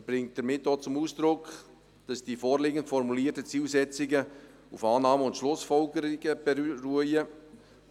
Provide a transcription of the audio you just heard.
Der Regierungsrat bringt damit auch zum Ausdruck, dass die vorliegend formulierten Zielsetzungen auf Annahmen und Schlussfolgerungen beruhen.